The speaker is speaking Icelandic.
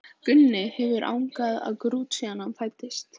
Gunni hefur angað af grút síðan hann fæddist.